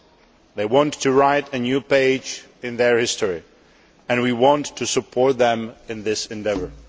The people want to write a new page in their history and we want to support them in that endeavour.